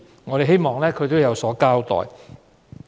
我們希望政府有所交代。